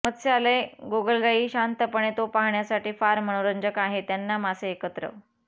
मत्स्यालय गोगलगाई शांतपणे तो पाहण्यासाठी फार मनोरंजक आहे त्यांना मासे एकत्र